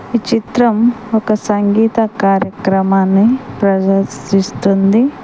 ఈ చిత్రం ఒక సంగీత కార్యక్రమాన్ని ప్రదర్శిస్తుంది.